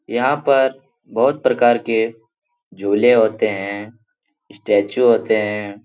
यहाँ पर बहुत प्रकार के झूले होते हैं स्टेचू होते हैं।